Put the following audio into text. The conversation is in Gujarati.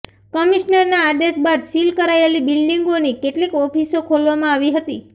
કમિશનરના આદેશ બાદ સીલ કરાયેલી બિલ્ડિંગોની કેટલીક ઓફિસો ખોલવામાં આવી હતી